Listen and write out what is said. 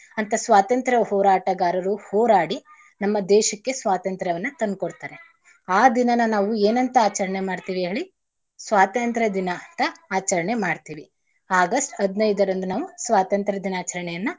ಅಂತ ಸ್ವತಂತ್ರ ಹೋರಾಟಗಾರರು ಹೋರಾಡಿ ನಮ್ಮ ದೇಶಕ್ಕೆ ಸ್ವಾತಂತ್ರವನ್ನ ತಂದ್ಕೊಡ್ತಾರೆ ಆ ದಿನಾನ ನಾವು ಏನಂತ ಆಚರಣೆ ಮಾಡ್ತೀವಿ ಹೇಳಿ? ಸ್ವಾತಂತ್ರ ದಿನ ಅಂತ ಆಚರಣೆ ಮಾಡ್ತೀವಿ. ಆಗಸ್ಟ್ ಹದ್ನೈದರಂದು ನಾವು ಸ್ವಾತಂತ್ರ ದಿನಾಚರಣೆಯನ್ನ.